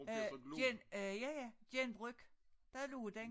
Øh gen øh ja ja genbrug dér lå den